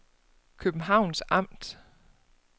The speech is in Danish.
Københavns Amt